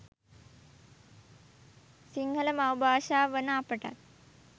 සිංහල මව් භාෂාව වන අපටත්